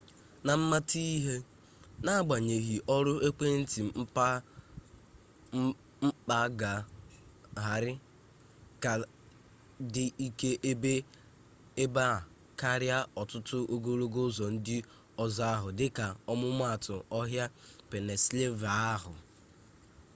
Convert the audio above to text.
na mmata ihe n'agbanyeghị ọrụ ekwentị mkpaagagharị ka dị ike ebe a karịa ọtụtụ ogologo ụzọ ndị ọzọ ahụ dịka ọmụmaatụ ọhịa pennsylvania ahụ